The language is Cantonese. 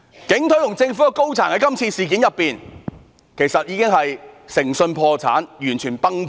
警隊和政府高層在今次事件中其實已誠信破產，完全"崩盤"。